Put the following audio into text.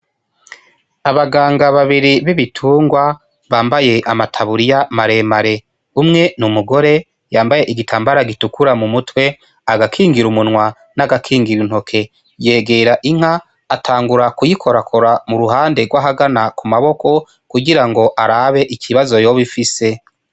Abaganga babiri b' ibitungwa bambaye amataburiya mare mare umwe ni umugore yambaye igitambara gitukura kumutwe agakingira munwa n' agakingira intoke yegera inka atangura kuyikorakora muruhanda gw' ahagana mumaboko kugira ngo arabe ikibazo yoba ifise.